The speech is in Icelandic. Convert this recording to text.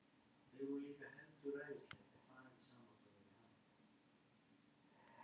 En til að geta elskað aðra er lykilatriði að geta elskað sjálfan sig.